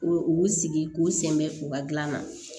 U sigi k'u senbɛ u ka gilan na